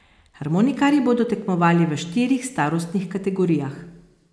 Harmonikarji bodo tekmovali v štirih starostnih kategorijah.